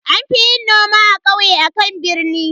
An fi yin noma a kauye akan a birni.